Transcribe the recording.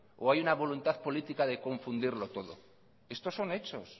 o hay una voluntad política de confundirlo todo estos son hechos